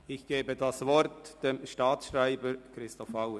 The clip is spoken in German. Ich gebe das Wort dem Staatsschreiber Christoph Auer.